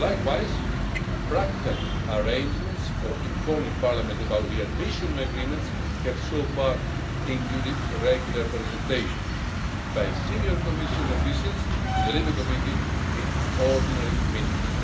Likewise, practical arrangements for informing Parliament about re admission agreements have so far included regular presentations by senior Commission officials to the Civil Liberties Committee in ordinary meetings.